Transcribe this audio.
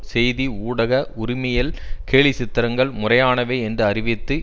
செய்தி ஊடக உரிமையில் கேலிச்சித்திரங்கள் முறையானவை என்று அறிவித்து